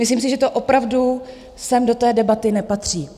Myslím si, že to opravdu sem do té debaty nepatří.